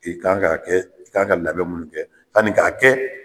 I kan k'a kɛ,i kan ka labɛn minnu kɛ, sani k'a kɛ.